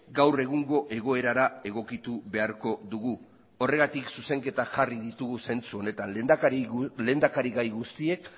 gaur egungo egoerara egokitu beharko dugu horregatik zuzenketak jarri ditugu zentzu honetan lehendakarigai guztiek